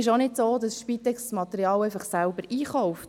Es ist auch nicht so, dass die Spitex das Material selber einkauft.